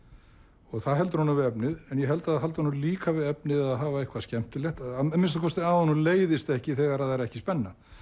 og það heldur honum við efnið ég held að það haldi honum líka við efnið að hafa eitthvað skemmtilegt að minnsta kosti að honum leiðist ekki þegar það er ekki spenna